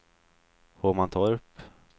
Hovmantorp